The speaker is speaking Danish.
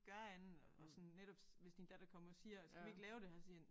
Gøre andet og sådan netop hvis din datter kommer og siger skal vi ikke lave det her så sige